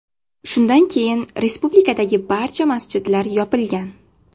Shundan keyin respublikadagi barcha masjidlar yopilgan .